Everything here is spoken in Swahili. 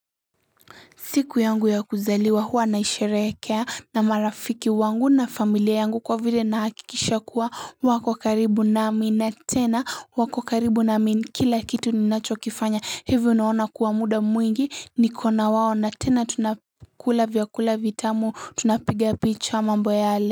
Siku yangu ya kuzaliwa huwa nahisherekea na marafiki wangu na familia yangu kwa vile na hakikisha kuwa wako karibu nami na tena wako karibu nami kila kitu ninacho kifanya hivo naona kuwa muda mwingi nikona wao na tena tunakula vyakula vitamu tunapiga picha mambo yale.